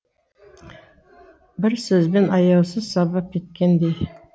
бір сөзбен аяусыз сабап кеткендей